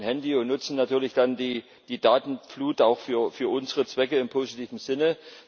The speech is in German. Wir alle haben ein Handy und nutzen natürlich dann die Datenflut auch für unsere Zwecke im positiven Sinne.